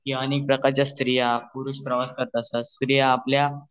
स्त्रिया पुरुष प्रवास करतात तसेच स्त्रिया आपल्या